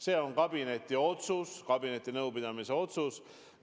See on kabineti otsus, kabinetinõupidamise otsus.